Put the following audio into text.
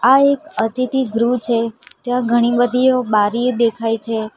આ એક અતિથિ ગૃહ છે ત્યાં ઘણી બધીઓ બારી દેખાય છે.